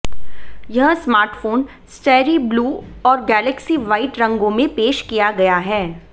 यह smartphone starry blue और galaxy white रंगों में पेश किया गया है